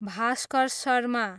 Bhaskar Sharma